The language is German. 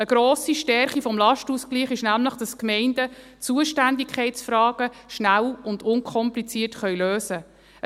Eine grosse Stärke des Lastenausgleichs ist nämlich, dass die Gemeinden Zuständigkeitsfragen schnell und unkompliziert lösen können.